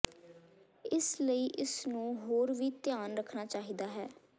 ਇਸ ਲਈ ਇਸ ਨੂੰ ਹੋਰ ਵੀ ਧਿਆਨ ਰੱਖਣਾ ਚਾਹੀਦਾ ਹੈ